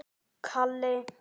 Nuddar kaldar hendur.